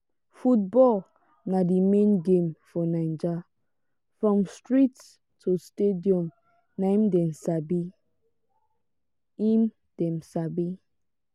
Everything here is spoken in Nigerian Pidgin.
football na di main game for naija from street to stadium na im dem sabi. im dem sabi.